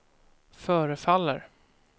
förefaller